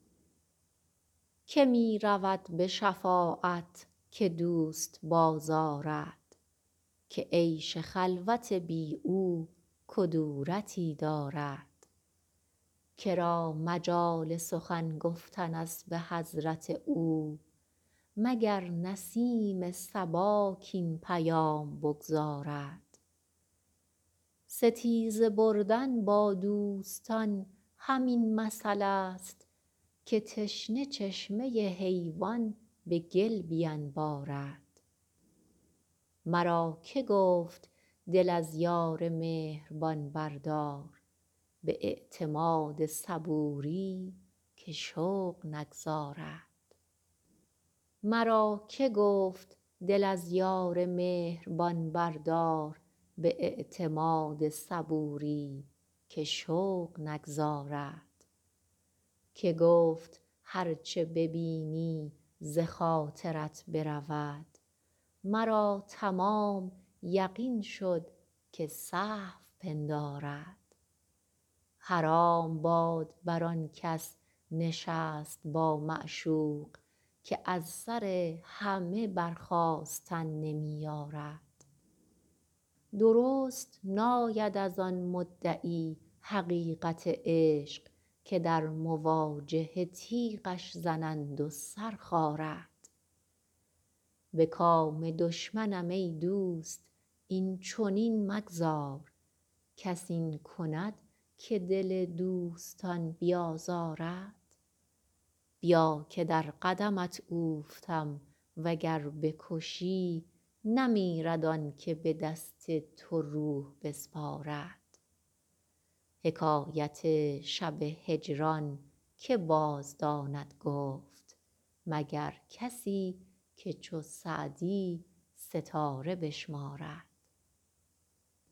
که می رود به شفاعت که دوست بازآرد که عیش خلوت بی او کدورتی دارد که را مجال سخن گفتن است به حضرت او مگر نسیم صبا کاین پیام بگزارد ستیزه بردن با دوستان همین مثلست که تشنه چشمه حیوان به گل بینبارد مرا که گفت دل از یار مهربان بردار به اعتماد صبوری که شوق نگذارد که گفت هر چه ببینی ز خاطرت برود مرا تمام یقین شد که سهو پندارد حرام باد بر آن کس نشست با معشوق که از سر همه برخاستن نمی یارد درست ناید از آن مدعی حقیقت عشق که در مواجهه تیغش زنند و سر خارد به کام دشمنم ای دوست این چنین مگذار کس این کند که دل دوستان بیازارد بیا که در قدمت اوفتم و گر بکشی نمیرد آن که به دست تو روح بسپارد حکایت شب هجران که بازداند گفت مگر کسی که چو سعدی ستاره بشمارد